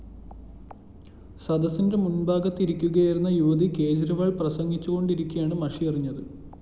സദസിന്റെ മുന്‍ഭാഗത്തിരിക്കുകയായിരുന്ന യുവതി കെജ് രിവാള്‍ പ്രസംഗിച്ചുകൊണ്ടിരിക്കെയാണ് മഷി എറിഞ്ഞത്